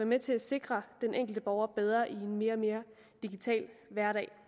med til at sikre den enkelte borger bedre i en mere og mere digital hverdag